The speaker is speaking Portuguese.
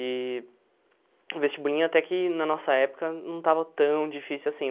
E... O vestibulinho, até que, na nossa época, não estava tão difícil assim.